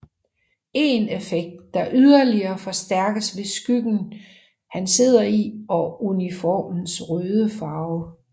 En effekt der yderligere forstærkes ved skyggen han sidder i og uniformens røde farve